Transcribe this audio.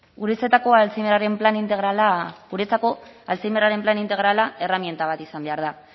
guretzako alzheimerraren plan integrala erreminta bat izan behar da